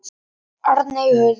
Arney Huld.